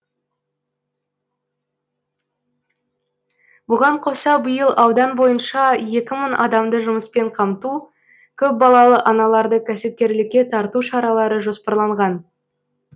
бұған қоса биыл аудан бойынша екі мың адамды жұмыспен қамту көпбалалы аналарды кәсіпкерлікке тарту шаралары жоспарланған